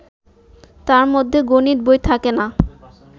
তার মধ্যে গণিত বই থাকে না